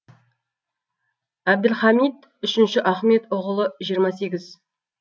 абділхамид үшінші ахмед ұғылы жиырма сегіз